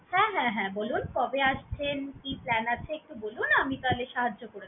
হ্যাঁ হ্যাঁ হ্যাঁ বলুন কবে আসছেন, কি plan আছে একটু বলুন আমি তাহলে সাহায্য করবো।